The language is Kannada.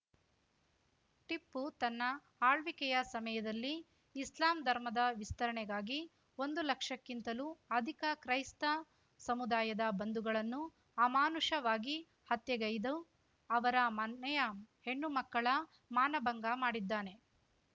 ಟಿಪ್ಪು ತನ್ನ ಆಳ್ವಿಕೆಯ ಸಮಯದಲ್ಲಿ ಇಸ್ಲಾಂ ಧರ್ಮದ ವಿಸ್ತರಣೆಗಾಗಿ ಒಂದು ಲಕ್ಷಕ್ಕಿಂತಲೂ ಅಧಿಕ ಕ್ರೈಸ್ತ ಸಮುದಾಯದ ಬಂಧುಗಳನ್ನು ಅಮಾನುಷವಾಗಿ ಹತ್ಯೆಗೈದು ಅವರ ಮನೆಯ ಹೆಣ್ಣುಮಕ್ಕಳ ಮಾನಭಂಗ ಮಾಡಿದ್ದಾನೆ